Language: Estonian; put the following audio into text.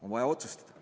On vaja otsustada.